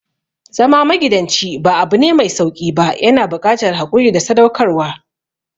Zama magidanci ba abune mai sauƙi ba, yana buƙatar haƙuri da sadaukarwa.